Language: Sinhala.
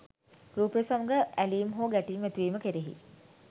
රූපය සමඟ ඇලීම් හෝ ගැටීම් ඇතිවීම කෙරෙහි